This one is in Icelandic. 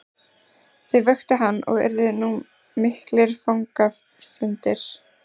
Þau vöktu hann og urðu nú miklir fagnaðarfundir.